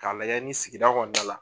K'a layɛ ni sigida kɔnɔna la